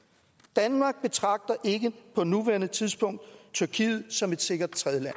danmark betragter ikke på nuværende tidspunkt tyrkiet som et sikkert tredjeland